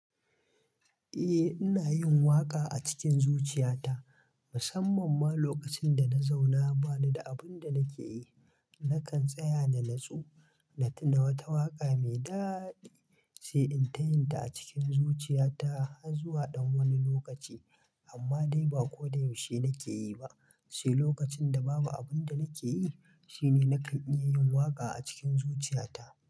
Eh ina yin waƙa acikin zuciyata musamman ma lokacin da na zauna banida abunda nakeyi nakan tsaya na natsu na tuna wata waƙa mai daɗi sai in ta yin ta acikin zuciyata har zuwa dan wani lokacin. Amma dai ba ko da yaushe nake yi ba, sai lokacin da babu abin da nake yi shine nakan iya yin waƙa a cikin zuciya ta.